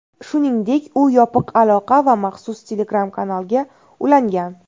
Shuningdek, u yopiq aloqa va maxsus Telegram-kanalga ulangan.